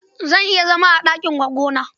Zan iya zama a ɗakin goggona.